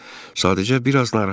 Yox, sadəcə biraz narahatam.